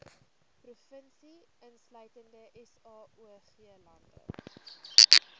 provinsie insluitende saoglande